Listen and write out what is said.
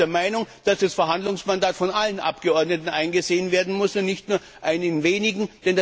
Ich bin auch der Meinung, dass das Verhandlungsmandat von allen Abgeordneten eingesehen werden muss und nicht nur von einigen wenigen.